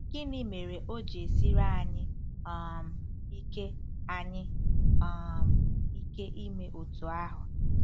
Gịnị mere o ji esiri anyị um ike anyị um ike ime otú ahụ?